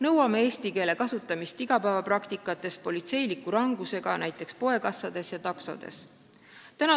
Soovime eesti keele kasutamist igapäevapraktikates ja nõuame seda politseiniku rangusega näiteks poekassades ja taksodes.